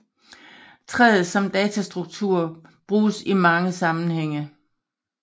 Træet som datastruktur bruges i mange sammenhænge